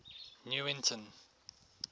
newington